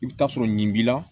I bɛ taa sɔrɔ nin b'i la